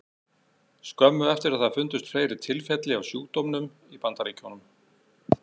Skömmu eftir það fundust fleiri tilfelli af sjúkdómnum í Bandaríkjunum.